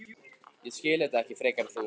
Ég skil þetta ekki frekar en þú.